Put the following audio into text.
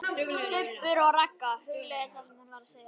STUBBUR OG RAGGA, hugleiðir það sem hún var að segja.